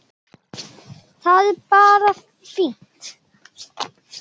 Það er bara fínt!